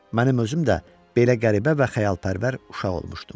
Mənim özüm də belə qəribə və xəyalpərvər uşaq olmuşdum.